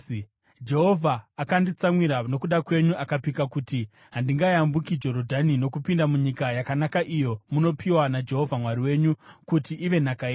Jehovha akanditsamwira nokuda kwenyu, akapika kuti handingayambuki Jorodhani nokupinda munyika yakanaka iyo munopiwa naJehovha Mwari wenyu kuti ive nhaka yenyu.